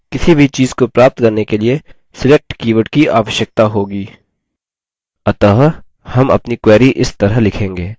किसी भी चीज़ को प्राप्त करने के लिए select कीवर्ड की आवश्यकता होगी अतः हम अपनी query इस तरह लिखेंगे